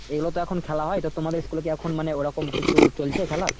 এগুলো তো এখন খেলা হয় তো তোমাদের school এ কি এখন মানে ওরকম কিছু চলছে খেলা ?